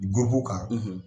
kan